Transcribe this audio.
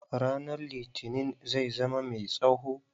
Ranan litinin zai zama mai tsawo.